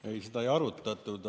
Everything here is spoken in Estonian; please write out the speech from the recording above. Ei, seda ei arutatud.